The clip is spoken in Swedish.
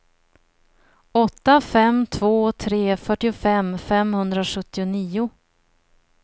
åtta fem två tre fyrtiofem femhundrasjuttionio